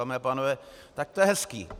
Dámy a pánové, tak to je hezký!